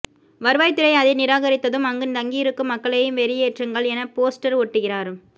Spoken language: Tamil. வருவாய்த்துறை அதை நிராகரித்ததும் அங்கு தங்கியிருக்கும் மக்களையும் வெளியேற்றுங்கள் என போஸ்டர் ஒட்டுகிறார்